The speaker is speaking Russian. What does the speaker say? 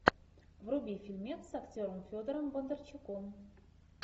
вруби фильмец с актером федором бондарчуком